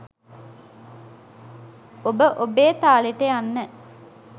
ඔබ ඔබේ තාලෙට යන්න